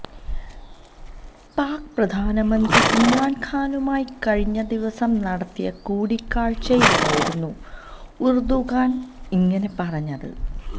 പാക് പ്രധാനമന്ത്രി ഇമ്രാന് ഖാനുമായി കഴിഞ്ഞ ദിവസം നടത്തിയ കൂടിക്കാഴ്ചയിലായിരുന്നു ഉര്ദുഗാന് ഇങ്ങനെ പറഞ്ഞത്